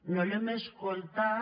no l’hem escoltat